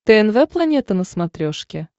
тнв планета на смотрешке